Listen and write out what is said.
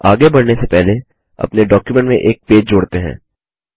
आगे बढ़ने से पहले अपने डॉक्युमेंट में एक पेज जोड़ते हैं